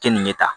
Keninge ta